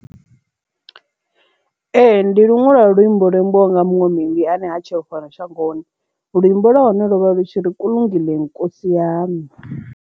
Ee, ndi luṅwe lwa luambo lwo imbiwa nga muṅwe muimbi ane ha tsheho fhano shangoni luimbo lwa hone lo vha lu tshi ri kulungile nkosi yami.